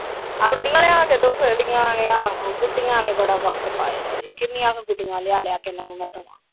ਗੁਡੀਆਂ ਲਿਆ ਕੇ ਦਿਓ ਫਿਰ ।ਗੁਡੀਆਂ ਆਵੇ ਆਹੋ ਗੁਡੀਆਂ ਨੇ ਬੜਾ ਵਕਤ ਪਾਇਆ ਕਿੰਨੀਆਂ ਕ ਗੁਡੀਆਂ ਲਿਆ ਲਿਆ ਕੇ ਇਹਨਾਂ ਨੂੰ ਮੈ ਦਵਾ ।